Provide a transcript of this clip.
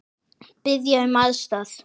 Biðja um aðstoð!